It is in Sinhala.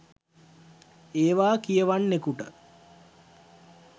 ඒවා කියවන්නෙකුට